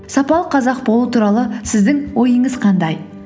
сапалы қазақ болу туралы сіздің ойыңыз қандай